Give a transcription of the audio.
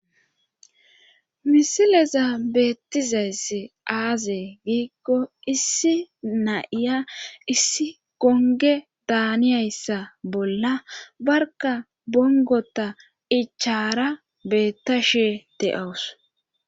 misileza beettizayss aaze giikko issi na'iya issi gonge daaniyayssa bolla barka bongota ichara beetta shee de7awus